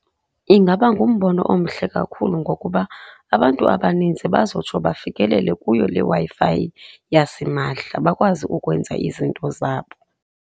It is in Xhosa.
Ingaba ngumbono omhle kakhulu ngokuba abantu abaninzi bazotsho bafikelele kuyo le Wi-Fi yasimahla, bakwazi ukwenza izinto zabo.